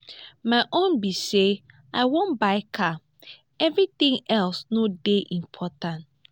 my own be say i wan buy car everything else no dey important